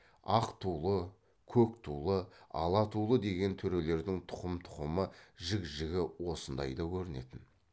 ақ тулы көк тулы ала тулы деген төрелердің тұқым тұқымы жік жігі осындайда көрінетін